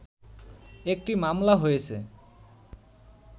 একটি মামলা হয়েছে